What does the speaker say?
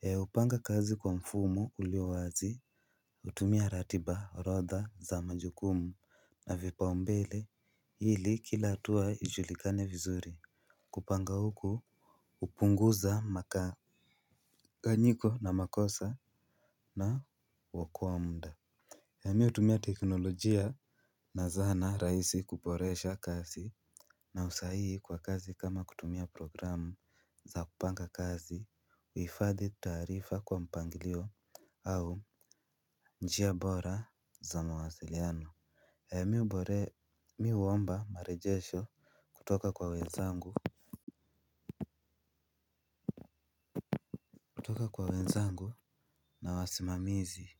He hupanga kazi kwa mfumo ulio wazi hutumia ratiba orodha za majukumu na vipaumbele ili kila hatua ijulikane vizuri. Kupanga huko hupunguza makanganyiko na makosa na huokoa muda, ee mi hutumia teknolojia na zana rahisi kuboresha kazi na usahihi kwa kazi kama kutumia programu za kupanga kazi. Kuhifadhi taarifa kwa mpangilio au njia bora za mawasiliano. Mi hubore mi huomba marejesho kutoka kwa wezangu. Kutoka kwa wezangu na wasimamizi.